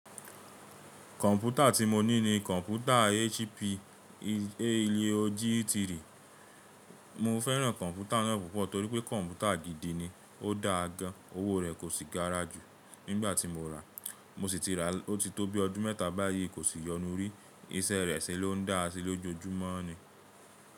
Kọ̀mpútà tí mo ní ni kọ̀mpútà HP, ilé ogiri. Mo fẹ́ràn kọ̀mpútà náà púpọ̀ torí pé kọ̀mpútà gidi ni, ó dáa gan, owó rẹ kò sì gara ju nígbà tí mo rà. Mo sì ti rà o ti tó bí i odun mẹ́ta báyìí kò sì yọnu rí. Iṣẹ́ rẹ̀ ṣe ló ń dá a sí lójoojúmọ́ ni.